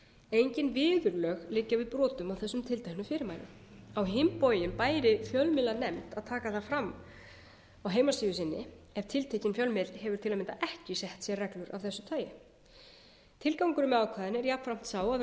engin viðurlög liggja við brotum á þessum tilteknu fyrirmælum á hinn bóginn bæri fjölmiðlanefnd að taka það fram á heimasíðu sinni ef tiltekinn fjölmiðill hefur til að mynda ekki sett sér reglur af þessu tagi tilgangurinn með ákvæðinu er jafnframt sá að vera